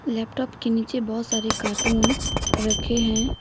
Laptop के नीचे बहुत सारे कार्टून रखे हैं।